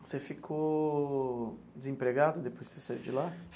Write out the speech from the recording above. Você ficou desempregado depois que você saiu de lá?